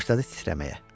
Başladı titrəməyə.